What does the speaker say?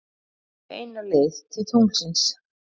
Beina leið til tunglsins.